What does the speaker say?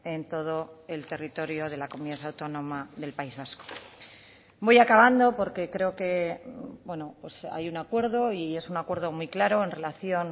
en todo el territorio de la comunidad autónoma del país vasco voy acabando porque creo que hay un acuerdo y es un acuerdo muy claro en relación